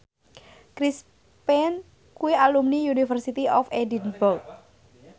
Chris Pane kuwi alumni University of Edinburgh